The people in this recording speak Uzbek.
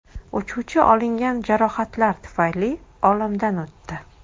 Uchuvchi olingan jarohatlar tufayli olamdan o‘tdi.